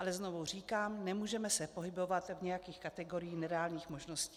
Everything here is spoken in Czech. Ale znovu říkám, nemůžeme se pohybovat v nějakých kategoriích nereálných možností.